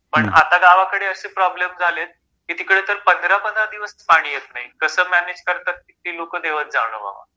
पण आता गावाकडे असे प्रॉब्लेम झालेत की तिकडे पंधरा पंधरा दिवस पाणी येत नाही कस मॅनेज करतात ते लोक देवच जानो बाबा.